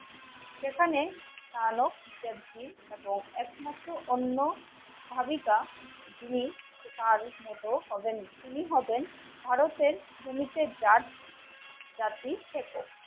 সেখানে কালো এবং একমাত্র অন্য ভাগিকা জিনি তার মতো হবেন. তিনি হবেন ভারতের